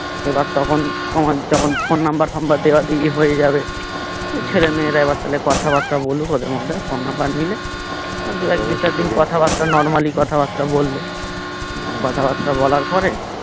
এবার তখন তোমার যখন phone number টাম্বার দেওয়া হয়ে যাবে ছেলে মেয়েরা এবার তাহলে কথা বার্তা বলুক ওদের মধ্যে phone number নিলে আর দু একদিন চারদিন কথা বার্তা normally কথা বার্তা বললে কথা বার্তা বলার পরে